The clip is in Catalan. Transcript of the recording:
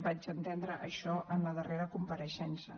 vaig entendre això en la darrera compareixença